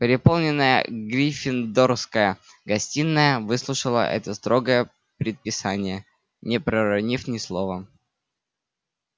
переполненная гриффиндорская гостиная выслушала это строгое предписание не проронив ни слова